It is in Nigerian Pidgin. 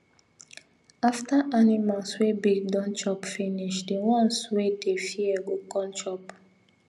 after animals wey big don chop finish the ones wey dey fear go come chop